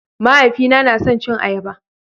Mahaifina na son cin ayaba